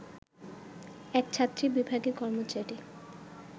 এক ছাত্রী বিভাগের কর্মচারী